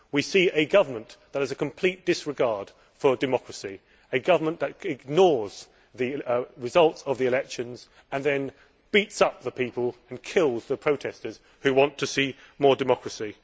We see a government that has a complete disregard for democracy, a government that ignores the results of the elections and then beats up the people and kills the protesters who want to see more democracy.